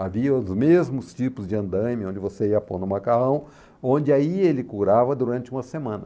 Havia os mesmos tipos de andaime onde você ia pondo no macarrão, onde aí ele curava durante uma semana.